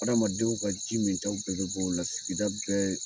Ha adamadenw ka ji min ta bɛɛ be bɔ o la sigida bɛɛ